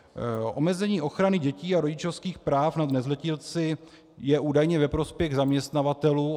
Omezení ochrany dětí a rodičovských práv nad nezletilci je údajně ve prospěch zaměstnavatelů.